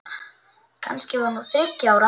Kannski var hún þriggja ára.